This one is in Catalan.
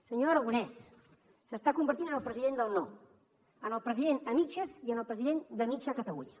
senyor aragonès s’està convertint en el president del no en el president a mitges i en el president de mitja catalunya